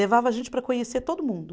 Levava a gente para conhecer todo mundo.